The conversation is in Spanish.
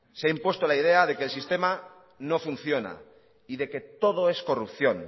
se ha impuesto la idea de que el sistema no funciona y de que todo es corrupción